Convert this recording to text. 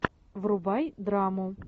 врубай драму